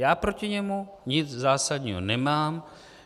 Já proti němu nic zásadního nemám.